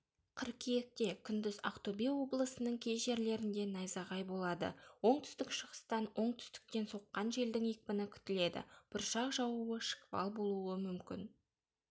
қыркүйекте күндіз ақтөбе облысының кей жерлерінде найзағай болады оңтүстік-шығыстан оңтүстіктен соққан желдің екпіні күтіледі бұршақ жаууы шквал болуы мүмкін